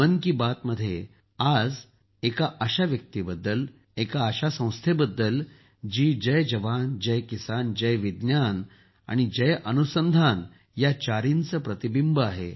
मन की बात मध्ये आज एका अशा व्यक्तीबद्दल एक अशा संस्थेबद्दल जी जय जवान जय किसान जय विज्ञान आणि जय अनुसंधान या चारहींचे प्रतिबिंह आहे